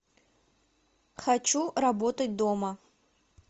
хочу работать дома